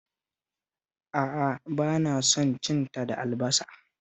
A'a, ba na son cin ta da albasa